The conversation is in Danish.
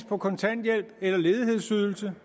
på kontanthjælp eller ledighedsydelse